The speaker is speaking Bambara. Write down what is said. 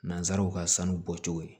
Nanzaraw ka sanu bɔcogo ye